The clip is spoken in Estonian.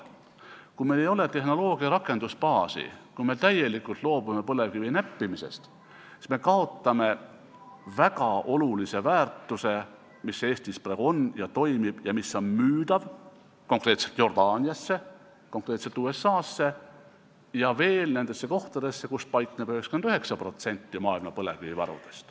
Kui meil ei ole tehnoloogia rakendusbaasi, kui me täielikult loobume põlevkivi näppimisest, siis me kaotame väga olulise väärtuse, mis Eestis praegu on ja toimib ning mis on müüdav, konkreetselt Jordaaniasse, konkreetselt USA-sse ja veel teistesse kohtadesse, kus paikneb 99% maailma põlevkivivarudest.